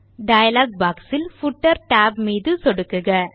dialogue boxஇல் footer tab மீது சொடுக்குக